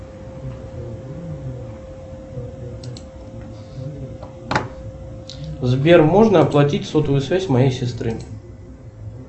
сбер можно оплатить сотовую связь моей сестры